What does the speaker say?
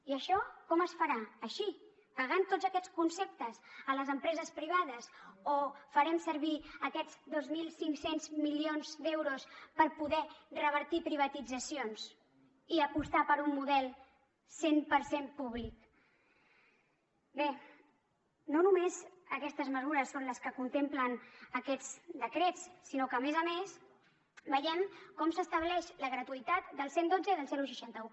i això com es farà així pagant tots aquests conceptes a les empreses privades o farem servir aquests dos mil cinc cents milions d’euros per poder revertir privatitzacions i apostar per un model cent per cent públic bé no només aquestes mesures són les que contemplen aquests decrets sinó que a més a més veiem com s’estableix la gratuïtat del cent i dotze i del seixanta un